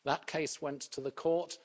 That case went to the Court.